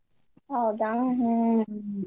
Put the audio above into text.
ಹೌದಾ ಹ್ಮ್.